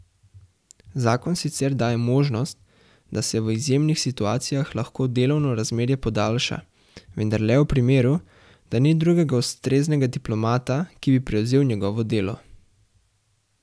Zakon sicer daje možnost, da se v izjemnih situacijah lahko delovno razmerje podaljša, vendar le v primeru, da ni drugega ustreznega diplomata, ki bi prevzel njegovo delo.